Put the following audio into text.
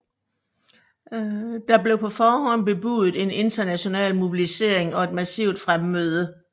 Der blev på forhånd bebudet en international mobilisering og et massivt fremmøde